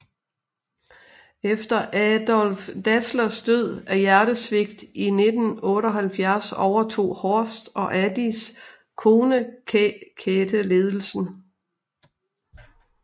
Efter Adolf Dasslers død af hjertesvigt i 1978 overtog Horst og Adis kone Käthe ledelsen